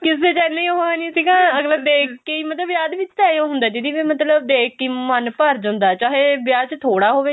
ਕਿਸੇ ਚ ਇੰਨੀ ਉਹ ਨੀ ਸੀਗਾ ਅਗਲਾ ਦੇਖ ਕੇ